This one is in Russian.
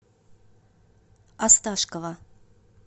осташкова